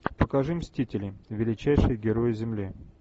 покажи мстители величайшие герои земли